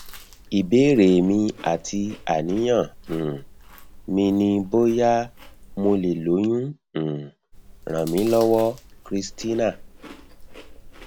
ìbéèrè mi àti àníyàn um mi ni bóyá mo lè lóyún um ràn mí lọwọ christina